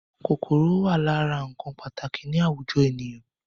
Kòkòrò wà lára ǹkan pàtàkì ni àwùjọ ènìyàn